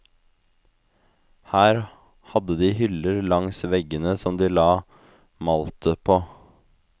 Her hadde de hyller langs veggene som de la maltet på.